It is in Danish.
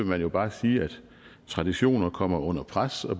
man jo bare sige at traditioner kommer under pres og